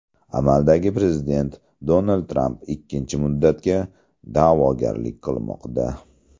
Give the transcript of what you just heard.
Amaldagi prezident Donald Tramp ikkinchi muddatga da’vogarlik qilmoqda.